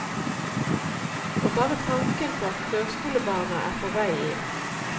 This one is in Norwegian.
Og bare tanken på at førskolebarna er på vei inn.